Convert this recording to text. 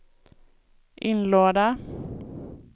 inlåda